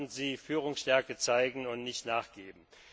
Da sollten Sie Führungsstärke zeigen und nicht nachgeben.